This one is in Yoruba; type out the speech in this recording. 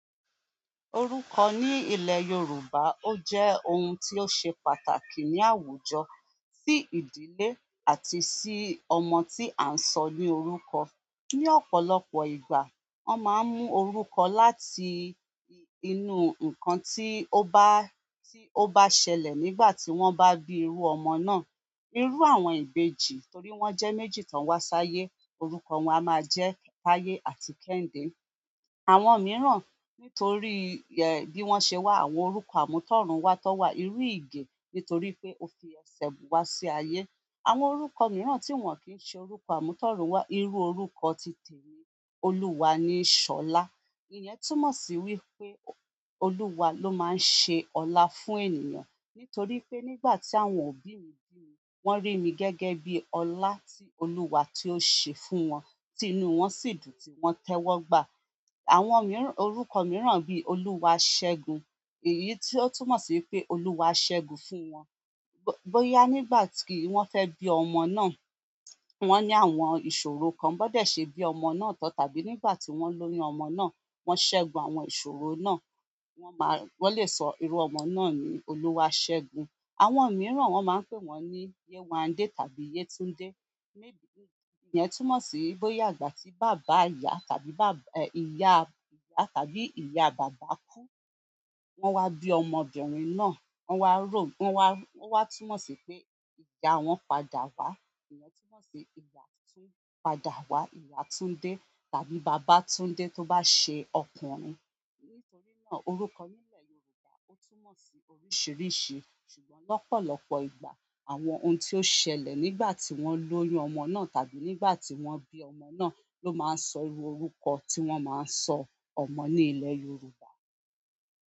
Orúkọ ní ilẹ̀ Yorùbá ó jẹ́ ohun tí ó ṣe pàtàkì ni àwùjọ, sí ìdílé àti sí ọmọ tí à ń sọ ní orúkọ. Ni ọ̀pọ̀lọpọ̀ ìgbà, wọ́n máa ń mú orúkọ láti inú ǹkan tí ó bá, tí ó bá ṣẹlẹ̀ nígbà tí wọ́n bá bí irú ọmọ náà. Irú àwọn ìbejì torí wọ́n jẹ́ méjì tó wá sáyé, orúkọ wọn a máa jẹ́ Táyé àti Kẹ́hìndé. Àwọn mìíràn nítorí bí wọ́n ṣe wà, àwọn orúkọ àmútọ̀runwá tó wà, irú Ige nítorí pé ó fi ẹsẹ̀ wá sí ayé. Àwọn orúkọ mìíràn tí wọ́n kì ṣe orúkọ àmútọ̀runwá, irú orúkọ titẹ̀mi Olúwa ni Ṣọlá. Èyí túmọ̀ sí wí pé Olúwa ló máa ń ṣe ọlá fún ènìyàn. Nítorí pé nígbà tí àwọn òbí mi bí mi, wọ́n rí mi gẹ́gẹ́ bí ọlá tí Olúwa tí ó ṣe fún wọn, tí inú wọn sì dùn tí wọ́n tẹ́wọ́gba. Àwọn miran. Orúkọ miran bi oluwasegun èyí to túnmọ̀ si wípé oluwa segun fún won boya nígbà ti won fe bi ọmọ náà wọ́n ní àwọn ìṣòro kan, bó dé ṣe bí ọmọ náà tán, tàbí nígbà tí wọ́n lóyún ọmọ náà, wọ́n ṣẹ́gun àwọn ìṣòro náà, wọ́n máa, wọ́n lè sọ irú ọmọ náà ni Olúwaṣẹ́gun. Àwọn miran won maa n pe won ni yewande àbí yetunde. Ìyẹn túmọ̀ sí bóyá ìgbà tí bàbá ìyá tàbí, ìyá, ìyá tàbí ìyá bàbá kú, wọ́n wá bí ọmọbìnrin náà, wọ́n wá ró, wọ́n wá, wọ́n wá túmọ̀ sí pé ìyá wọn padà wá. Ìyẹn túmọ̀ sí ìyá tún padà wá, ìyá Tunde tàbí bàbá Tunde tó bá ṣe ọkùnrin. Nítorí náà orúkọ nílẹ̀ Yorùbá ó túmọ̀ sí oríṣìíríṣìí, ṣùgbọ́n lọ́pọ̀lọpọ̀ ìgbà àwọn ohun tí ó ṣẹlẹ̀ nígbà tí wọ́n lóyún ọmọ náà tàbí nígbà tí wọ́n bí ọmọ náà ló máa ń sọ irú orúkọ tí wọ́n máa sọ ọmọ ní ilẹ̀ Yorùbá.